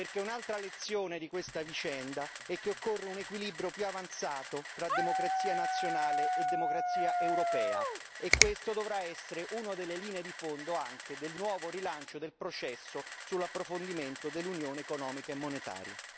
Infatti, un'altra lezione di questa vicenda è che occorre un equilibrio più avanzato tra democrazia nazionale e democrazia europea e questa dovrà essere una delle linee di fondo anche del nuovo rilancio del processo sull'approfondimento dell'unione economica e monetaria.